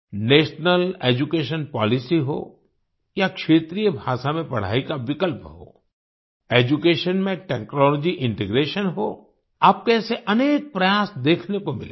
national education policy हो या क्षेत्रीय भाषा में पढ़ाई का विकल्प हो एड्यूकेशन में टेक्नोलॉजी इंटीग्रेशन हो आपको ऐसे अनेक प्रयास देखने को मिलेंगे